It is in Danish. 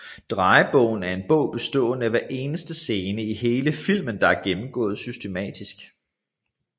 Drejebogen er en bog bestående af hver eneste scene i hele filmen der er gennemgået systematisk